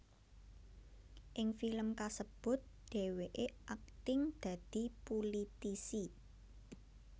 Ing film kasebut dhèwèké akting dadi pulitisi